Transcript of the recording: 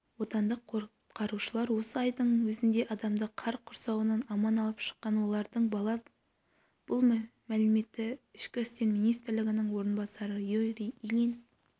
отандық құтқарушылар осы айдың өзінде адамды қар құрсауынан аман алып шыққан олардың бала бұл мәліметті ішкі істер министрінің орынбасары юрий ильин